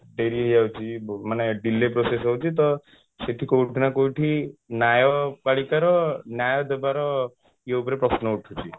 ଡେରି ହେଇ ଯାଉଛି ମାନେ delay process ହେଉଛି ତ ଶେଠୀ କଉଠି ନା କଉଠି ନ୍ୟାୟପାଳିକା ର ନ୍ୟାୟ ଦେବାର ଇଏ ଉପରେ ପ୍ରଶ୍ନ ଉଠୁଛି